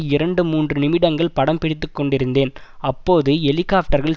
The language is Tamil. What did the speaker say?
இரண்டு மூன்று நிமிடங்கள் படம் பிடித்துக்கொண்டிருந்தேன் அப்போது ஹெலிகாப்டர்கள்